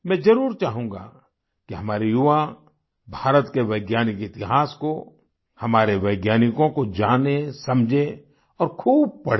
मैं जरुर चाहूँगा कि हमारे युवा भारत के वैज्ञानिक इतिहास को हमारे वैज्ञानिकों को जाने समझें और खूब पढ़ें